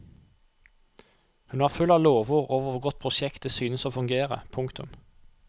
Hun var full av lovord over hvor godt prosjektet synes å fungere. punktum